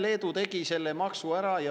Leedu tegi selle maksu ära.